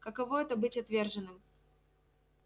каково это быть отверженным